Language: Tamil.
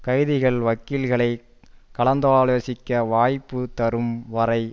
கைதிகள் வக்கீல்களைக் கலந்தாலோசிக்க வாய்ப்பு தரும் வரை